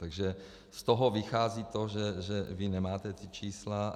Takže z toho vychází to, že vy nemáte ta čísla.